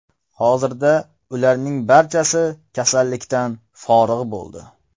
Hozirda ularning barchasi kasallikdan forig‘ bo‘ldi.